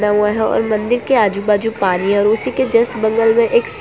हुआ है और मन्दिर के आजू बाजू पानी है और उसी के जस्ट बगल मे एक --